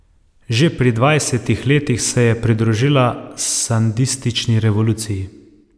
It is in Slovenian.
Že pri dvajsetih letih se je pridružila sandinistični revoluciji.